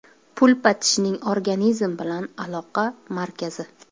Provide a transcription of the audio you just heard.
Pulpa tishning organizm bilan aloqa markazi.